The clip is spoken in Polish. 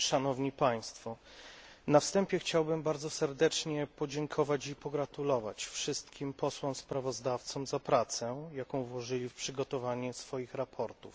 Na wstępie chciałbym bardzo serdecznie podziękować i pogratulować wszystkim posłom sprawozdawcom za pracę, jaką włożyli w przygotowanie swoich sprawozdań.